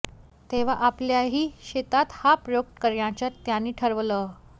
तेव्हा आपल्याही शेतात हा प्रयोग करण्याचं त्यांनी ठरवलं